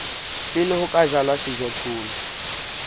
pele ho ka jalwa sejothollo